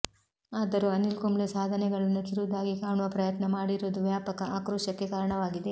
ಆದರೂ ಅನಿಲ್ ಕುಂಬ್ಳೆ ಸಾಧನೆಗಳನ್ನು ಕಿರುದಾಗಿ ಕಾಣುವ ಪ್ರಯತ್ನ ಮಾಡಿರುವುದು ವ್ಯಾಪಕ ಆಕ್ರೋಶಕ್ಕೆ ಕಾರಣವಾಗಿದೆ